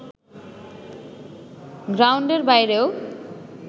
গ্রাউন্ডের বাইরেও